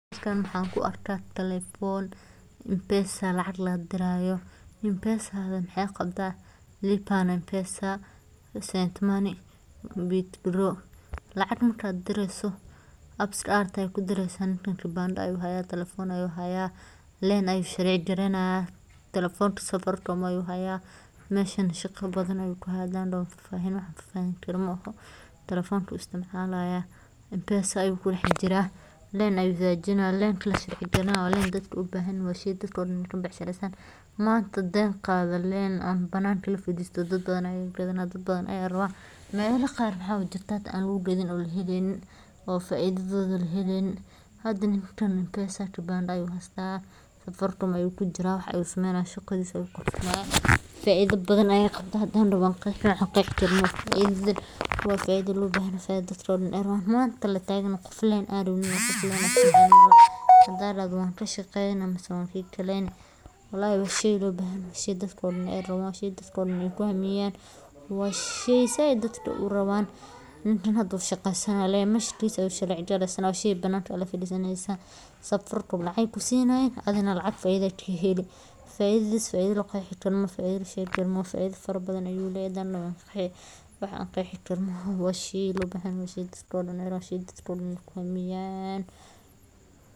Interface-ka Safaricom waa mid si heer sare ah loo naqshadeeyey, isagoo siinaya isticmaalayaasha khibrad sahlan oo la fahmi karo, gaar ahaan dadka isticmaala moobilada gacanta ee casriga ah iyo kuwa caadiga ahba. Marka aad furto M-Pesa interface-ka, waxaad si fudud u arkeysaa qaybaha muhiimka ah sida Dir Lacag, Qaado Lacag, Bixi Lacag, iyo Lacagtaada. Mid kasta oo ka mid ah qaybahan waxa uu leeyahay menu-hoosaadyo u gaar ah oo kuu sahli kara inaad si degdeg ah u gaarto adeegga aad rabto. Interface-kan waxa uu leeyahay midabyo is fahmaya oo isha u roon, font cad oo la akhrin karo, iyo astaamo sahla in la fahmo xitaa haddii qofku aqoon badan u lahayn tiknoolajiyadda.